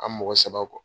An mɔgɔ saba kɔ